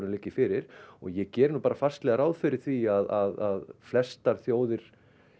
liggja fyrir og ég geri nú bara fastlega ráð fyrir því að flestar þjóðir